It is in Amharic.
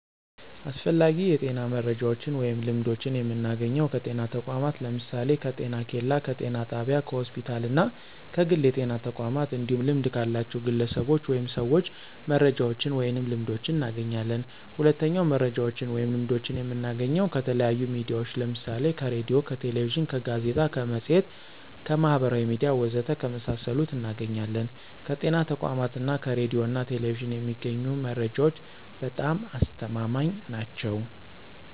አስፈላጊ የጤና መረጃዎችን ወይም ልምዶችን የምናገኘው ከጤና ተቋማት ለምሳሌ፦ ከጤኬላ፣ ከጤና ጣቢያ፣ ከሆስፒታል እና ከግል የጤና ተቋማት እንዲሁም ልምድ ካላቸው ግለሰቦች ወይም ሰዎች መረጃዎችን ወይንም ልምዶችን እናገኛለን። ሁለተኛው መረጃዎችን ወይም ልምዶችን የምናገኘው ከተለያዩ ሚዲያዎች ለምሳሌ ከሬዲዮ፣ ከቴሌቪዥን፣ ከጋዜጣ፣ ከመፅሔት፣ ከማህበራዊ ሚዲያ ወዘተ ከመሳሰሉት እናገኛለን። ከጤና ተቋማት እና ከሬዲዮ ና ቴሌቪዥን የሚገኙ መረጃዎች በጣም አስተማማኝ ናቸው።